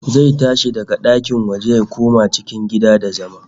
Zai tashi daga ɗakin waje ya koma cikin gida da zama